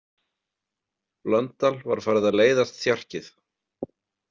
Blöndal var farið að leiðast þjarkið.